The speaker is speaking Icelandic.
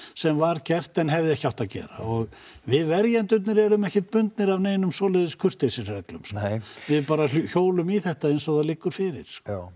sem var gert en hefði ekki átt að gera og við verjendurnir erum ekkert bundnir við svoleiðis kurteisisreglur við bara hjólum í þetta eins og það liggur fyrir